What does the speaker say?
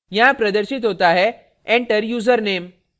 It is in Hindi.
यहाँ प्रदर्शित होता है enter username